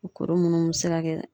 Kuru munnu be se ka kɛ